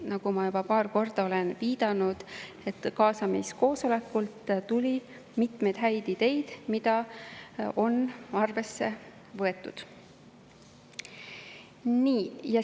Nagu ma juba paar korda olen viidanud, kaasamiskoosolekul tuli mitmeid häid ideid, mida on arvesse võetud.